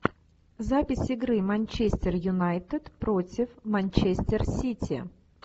запись игры манчестер юнайтед против манчестер сити